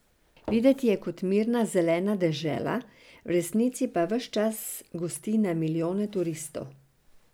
Videti je kot mirna zelena dežela, v resnici pa ves čas gosti na milijone turistov.